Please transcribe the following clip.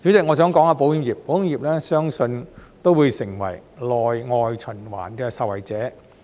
我相信保險業也會成為內外循環的受惠者。